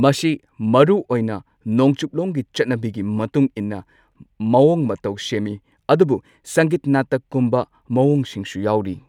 ꯃꯁꯤ ꯃꯔꯨ ꯑꯣꯏꯅ ꯅꯣꯡꯆꯨꯞꯂꯣꯝꯒꯤ ꯆꯠꯅꯕꯤꯒꯤ ꯃꯇꯨꯡ ꯏꯟꯅ ꯃꯑꯣꯡ ꯃꯇꯧ ꯁꯦꯝꯃꯤ ꯑꯗꯨꯕꯨ ꯁꯪꯒꯤꯠ ꯅꯥꯇꯛꯀꯨꯝꯕ ꯃꯑꯣꯡꯁꯤꯡꯁꯨ ꯌꯥꯎꯔꯤ꯫